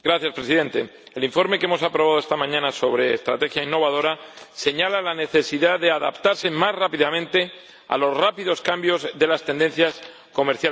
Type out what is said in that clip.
El informe que hemos aprobado esta mañana sobre una estrategia innovadora señala la necesidad de adaptarse más rápidamente a los rápidos cambios de las tendencias comerciales mundiales.